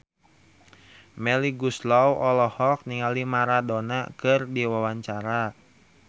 Melly Goeslaw olohok ningali Maradona keur diwawancara